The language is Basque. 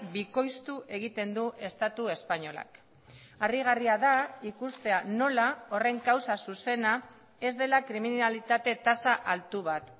bikoiztu egiten du estatu espainolak harrigarria da ikustea nola horren kausa zuzena ez dela kriminalitate tasa altu bat